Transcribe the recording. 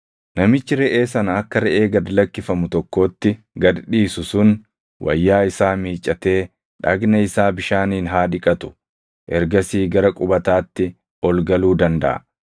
“Namichi reʼee sana akka reʼee gad lakkifamu tokkootti gad dhiisu sun wayyaa isaa miiccatee dhagna isaa bishaaniin haa dhiqatu; ergasii gara qubataatti ol galuu dandaʼa.